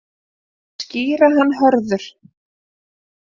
Skýra hann Hörður.